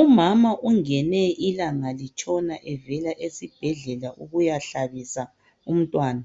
Umama ungene ilanga litshona evela esibhedlela ukuya hlabisa umntwana